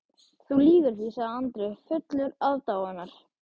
Þú lýgur því, sagði Andri fullur aðdáunar.